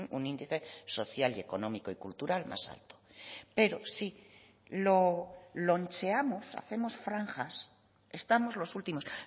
un índice social y económico y cultural más alto pero si lo loncheamos hacemos franjas estamos los últimos